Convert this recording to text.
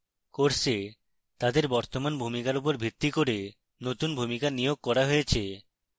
course তাদের বর্তমান ভূমিকার উপর ভিত্তি করে নতুন ভূমিকা নিয়োগ করা হয়েছে